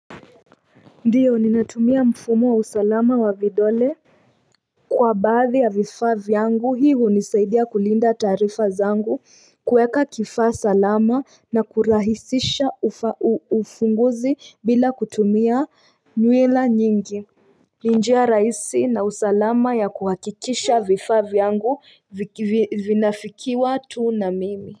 Ndio, nimetumia mfumo wa usalama wa vidole kwa baadhi ya vifaa vyangu hii hunisaidia kulinda taarifa zangu kueka kifaa salama na kurahisisha ufunguzi bila kutumia nywila nyingi ni njia rahisi na usalama ya kuhakikisha vifaa vyangu vinafikiwa tu na mimi.